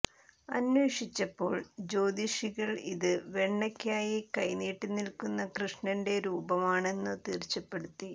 അന്വേഷിച്ചപ്പോൾ ജ്യോതിഷികൾ ഇത് വെണ്ണയ്ക്കായി കൈ നീട്ടി നിൽക്കുന്ന കൃഷ്ണന്റെ രൂപമാണെന്നു തീർച്ചപ്പെടുത്തി